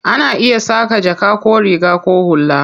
Ana iya saƙa jaka ko riga ko hula.